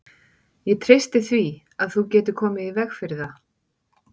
Ég treysti því, að þú getir komið í veg fyrir það